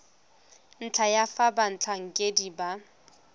ntlha ya fa batlhankedi ba